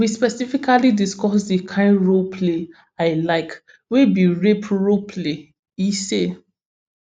we specifically discuss di kian role play i like wey be rape role play e say